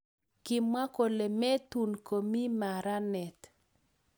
kimwa kole metun komi maranet